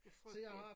Det frygteligt